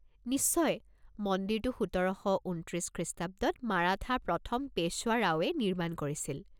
নিশ্চয়, মন্দিৰটো সোতৰ শ ঊনত্ৰিছ খ্ৰীষ্টাব্দত মাৰাঠা প্ৰথম পেশ্বৱা ৰাওয়ে নিৰ্মাণ কৰিছিল।